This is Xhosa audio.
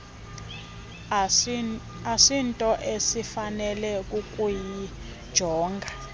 asinto esifanele kukuyijonga